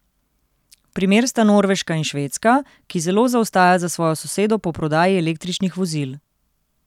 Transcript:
Primer sta Norveška in Švedska, ki zelo zaostaja za svojo sosedo po prodaji električnih vozil.